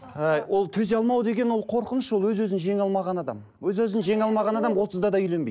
ы ол төзе алмау деген ол қорқыныш ол өз өзін жеңе алмаған адам өз өзін жеңе алмаған адам отызда да үйленбейді